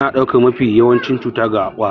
Ana ɗaukan mafi yawancin cuta daga ƙwari